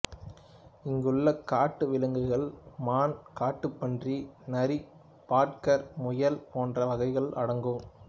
இங்குள்ள காட்டு விலங்குகளுள் மான் காட்டுப்பன்றி நரி பாட்கர் முயல் போன்ற வகைகள் அடங்கும்